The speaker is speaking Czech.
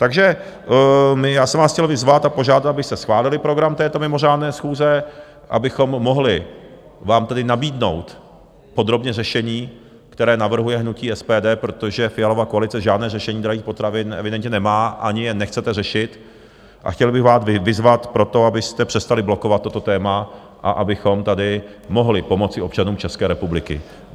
Takže já jsem vás chtěl vyzvat a požádat, abyste schválili program této mimořádné schůze, abychom mohli vám tedy nabídnout podrobně řešení, které navrhuje hnutí SPD, protože Fialova koalice žádné řešení drahých potravin evidentně nemá, ani je nechcete řešit, a chtěl bych vás vyzvat pro to, abyste přestali blokovat toto téma a abychom tady mohli pomoci občanům České republiky.